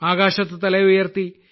ആകാശത്ത് തല ഉയർത്തി